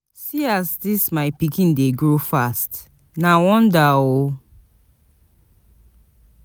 See as dis my pikin dey grow fast, na wonder!